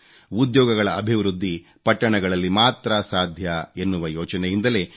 ಉದ್ಯೋಗಗಳ ಅಭಿವೃದ್ಧಿ ಪಟ್ಟಣಗಳಲ್ಲಿ ಮಾತ್ರ ಸಾಧ್ಯ ಎನ್ನುವ ಯೋಚನೆಯಿಂದಲೇ ಡಾ